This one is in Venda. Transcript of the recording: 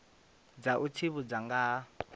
dza u tsivhudza nga ha